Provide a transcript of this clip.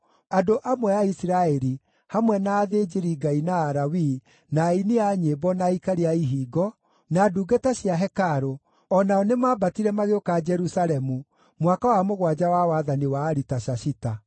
Andũ amwe a Isiraeli, hamwe na athĩnjĩri-Ngai, na Alawii, na aini a nyĩmbo, na aikaria a ihingo, na ndungata cia hekarũ o nao nĩmambatire magĩũka Jerusalemu mwaka wa mũgwanja wa wathani wa Aritashashita.